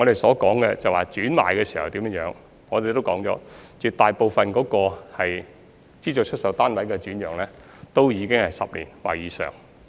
我剛才談到轉讓時，已指出絕大部分資助出售單位的轉讓均是持有單位10年或以上。